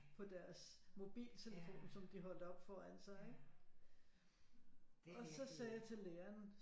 På deres mobiltelefon som de holdt op foran sig ikke og så sagde jeg til læreren